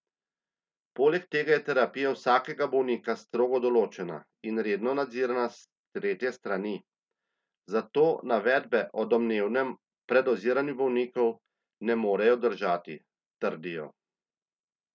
Poleg tega je terapija vsakega bolnika strogo določena in redno nadzirana s tretje strani, zato navedbe o domnevnem predoziranju bolnikov ne morejo držati, trdijo.